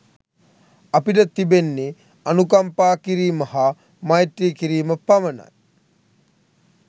අපිට තිබෙන්නේ අනුකම්පා කිරීම හා මෛත්‍රී කිරීම පමණයි.